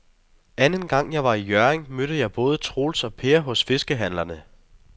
Anden gang jeg var i Hjørring, mødte jeg både Troels og Per hos fiskehandlerne.